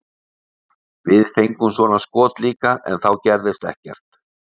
Við fengum svona skot líka en þá gerðist ekkert.